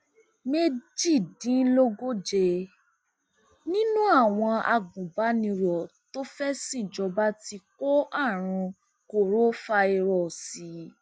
méjìdínlógóje nínú àwọn agùnbánirò tó fẹẹ ṣìnjọba ti kó àrùn kórofàírósì